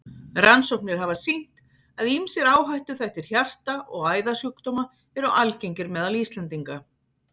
Rannsóknir hafa sýnt, að ýmsir áhættuþættir hjarta- og æðasjúkdóma eru algengir meðal Íslendinga.